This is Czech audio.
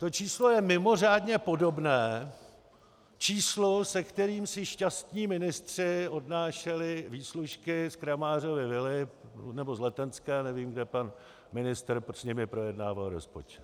To číslo je mimořádně podobné číslu, se kterým si šťastní ministři odnášeli výslužky z Kramářovy vily, nebo z Letenské, nevím, kde pan ministr s nimi projednával rozpočet.